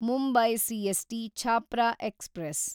Mumbai CST Chhapra express